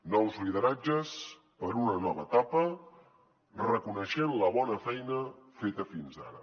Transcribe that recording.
nous lideratges per a una nova etapa reconeixent la bona feina feta fins ara